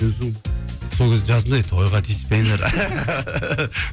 сол кезде жаздым да тойға тиіспеңдер